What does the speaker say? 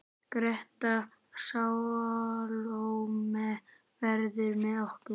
Greta Salóme verður með okkur.